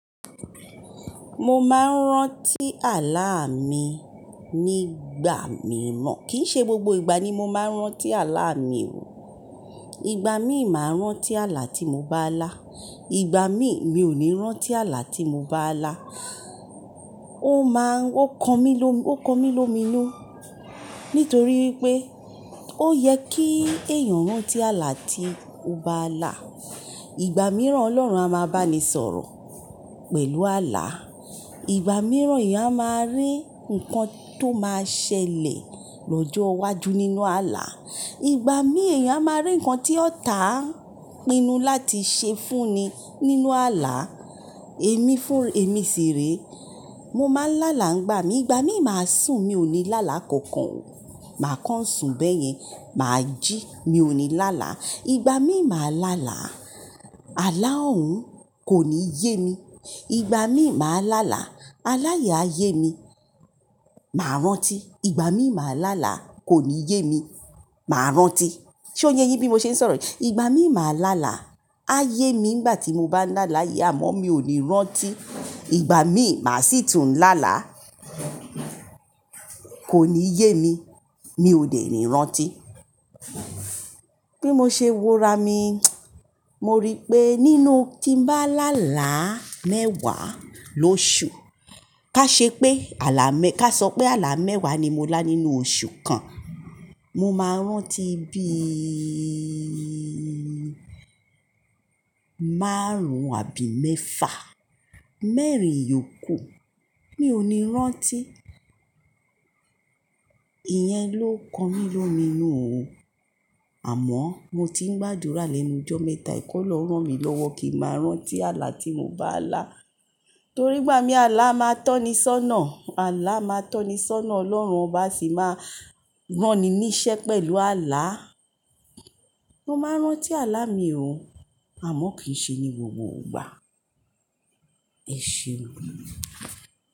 Mo máa ń rántí àlá mi nígbà mìíràn. Kìí ṣe gbogbo ìgbà ni mo máa ń rántí àlá mi o. Ìgbà mí ì máa rántí àlá tí mo bá lá, ìgbà mí mi ò ní rántí àlá tí mo bá lá. Ó máa ń, ó kan mí lómi, ó kan mí lómi nu. Nítorí pé ó yẹ kí èèyàn rántí àlá tí ó bá lá. Ìgbà mìíràn Ọlọ́run a máa bá mi sọ̀rọ̀ pẹ̀lú àlá. Ìgbà mìíràn èèyàn a máa rí nǹkan tó máa ṣẹlẹ̀ lọ́jọ́ iwájú nínú àlá. Ìgbà mí èèyàn a máa rí nǹkan tí ọ̀tá pinnu láti ṣe fún ni nínú àlá. Èmi fún, èmi sì re. Mo máa ń lá là ńgbà mí. Ìgbà mí mà sùn mi ò ní lá là kankan o. Mà kán sùn bẹ́yẹn, mà jí mi ò ní lá là. Ìgbà mí mà lá là, àlá òun kò ní yé mi. Ìgbà mí mà lá là, aláyè á yé mi, mà rántí. Ìgbà mí mà lá là, kò ní yé mi, mà rántí. Ṣé o yẹ bí mo ṣe ń sọ̀rọ̀? Ìgbà mí mà lá là, á yé mi nígbà tí mo bá lá láyè àmọ́ mi ò ní rántí. Ìgbà mí mà sì tún lá là, kò ní yé mi, mi ò dè ni rántí. Bí mo ṣe wo ra mi, mo rí pé nínú tí ń bá lá là mẹ́wàá lóṣù, ká ṣe pé àlá mẹ́, ká sọ pé àlá mẹ́wàá ni mo lá nínú oṣù kan, mo máa rántí bí máàrún àbí mẹ́fà. Mẹ́rin yòókù mi ò ní rántí. Ìyẹn ló kan mí lómi nu. Àmọ́ mo ti ń gbàdúrà lénu ọjọ́ mẹ́ta, kí Ọlọ́run ràn mí lọ́wọ́ kí mà rántí àlá tí mo bá lá. Torí ìgbà mí àlá máa tọ́ni sọ́nà, àlá máa tọ́ni sọ́nà. Ọlọ́run bá sì máa rán ni níṣẹ́ pẹ̀lú àlá, mo máa rántí àlá mi o. Àmọ́ kì í ṣe ní gbogbo ìgbà. Ẹseun.